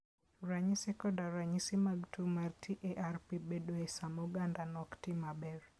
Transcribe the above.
Ranyisi koda ranyisi mag tuwo mar TARP bedoe sama ogandano ok ti maber.